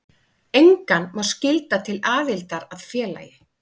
Engan má skylda til aðildar að félagi.